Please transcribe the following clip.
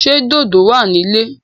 Ṣé dòdò wà ní ilé?